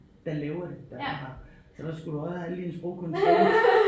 Der laver det der så har så der skulle du også have alle dine sprogkundskaber